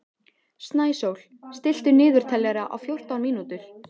Snæsól, stilltu niðurteljara á fjórtán mínútur.